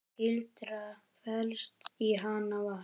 Gildran felst í Hann var.